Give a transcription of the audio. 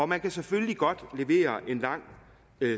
man kan selvfølgelig godt levere en lang